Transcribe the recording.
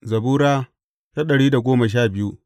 Zabura Sura dari da goma sha biyu